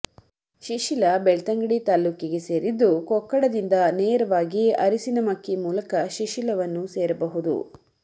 ಶಿಶಿಲ ಬೆಳ್ತಂಗಡಿ ತಾಲೂಕಿ ಗೆ ಸೇರಿದ್ದು ಕೊಕ್ಕಡ ದಿಂದ ನೇರವಾಗಿ ಅರಸಿನಮಕ್ಕಿ ಮೂಲಕ ಶಿಶಿಲವನ್ನು ಸೇರಬಹುದು